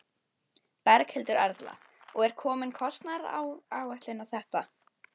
Berghildur Erla: Og er komin kostnaðaráætlun á þetta?